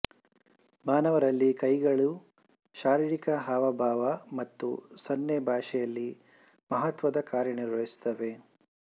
ಮಾನವರಲ್ಲಿ ಕೈಗಳು ಶಾರೀರಿಕ ಹಾವಭಾವ ಮತ್ತು ಸನ್ನೆ ಭಾಷೆಯಲ್ಲಿ ಮಹತ್ವದ ಕಾರ್ಯನಿರ್ವಹಿಸುತ್ತವೆ